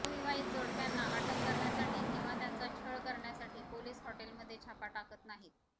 अविवाहित जोडप्यांना अटक करण्यासाठी किंवा त्यांचा छळ करण्यासाठी पोलिस हॉटेलमध्ये छापा टाकत नाहीत